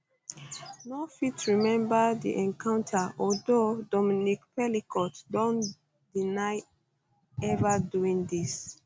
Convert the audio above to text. no fit remember di encounter although dominique pelicot don deny ever doing dis